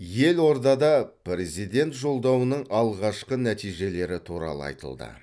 елордада президент жолдауының алғашқы нәтижелері туралы айтылды